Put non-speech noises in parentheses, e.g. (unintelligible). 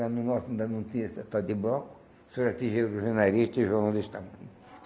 Lá no Norte ainda não tinha setor de bloco, só era tijolo (unintelligible)